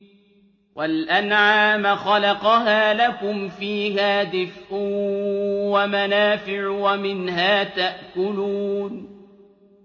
وَالْأَنْعَامَ خَلَقَهَا ۗ لَكُمْ فِيهَا دِفْءٌ وَمَنَافِعُ وَمِنْهَا تَأْكُلُونَ